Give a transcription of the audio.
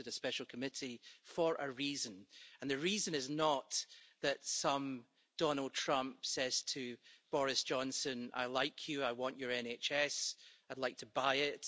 We wanted a special committee for a reason and the reason is not that some Donald Trump says to Boris Johnson, I like you, I want your NHS, I'd like to buy it.